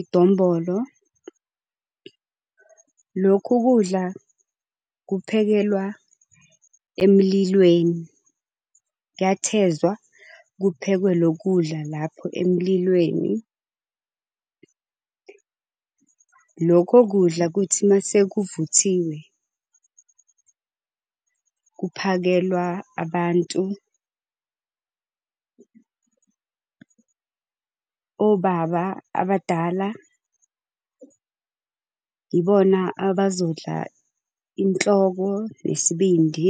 idombolo. Lokhu kudla kuphekelwa emlilweni, kuyathezwa kuphekwe lo kudla lapho emlilweni. Lokho kudla kuthi mase kuvuthiwe kuphakelwa abantu, obaba abadala yibona abazodla inhloko nesibindi.